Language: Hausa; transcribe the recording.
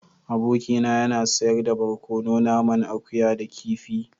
Abokina yana sayar da barkono naman akuya da kifi.